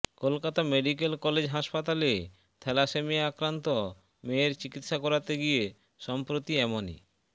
Kolkata medical college হাসপাতালে thalassemia আক্রান্ত মেয়ের চিকিৎসা করাতে গিয়ে সম্প্রতি এমনই